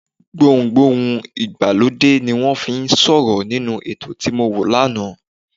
Gbohùn Gbohùn ìgbàlódé ni wọ́n fi ń sọ̀rọ̀ nínú ètò tí mọ wo lánàá.